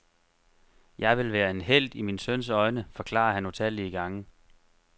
Jeg vil være en helt i min søns øjne, forklarer han utallige gange.